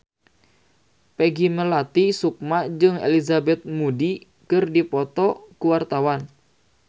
Peggy Melati Sukma jeung Elizabeth Moody keur dipoto ku wartawan